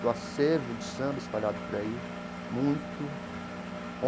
acervo de samba espalhado por aí, muito.